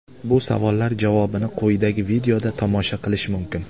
Bu savollar javobini quyidagi videoda tomosha qilish mumkin.